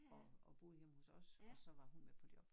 Og og boede hjemme hos os og så var hun med på job